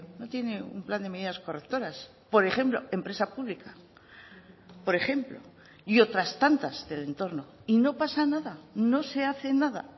no tiene un plan de medidas correctoras por ejemplo empresa pública por ejemplo y otras tantas del entorno y no pasa nada no se hace nada